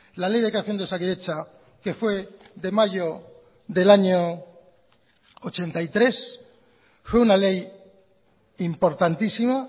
la ley de creación de osakidetza que fue de mayo del año mil novecientos ochenta y tres fue una ley importantísima